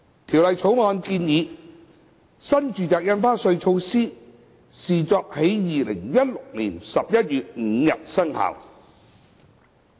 《條例草案》建議，新住宅印花稅措施視作在2016年11月5日生效。